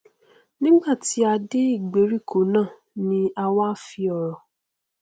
nigbàtí a dé ìgbèríko náà ni a wá fi ọrọ